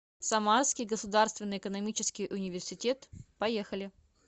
самарский государственный экономический университет поехали